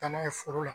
Taama ye foro la